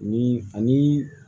Ni ani